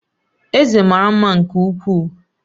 Eze mara mma nke ukwuu